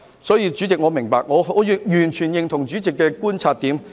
所以，主席，我是明白的，我完全認同主席的觀察點。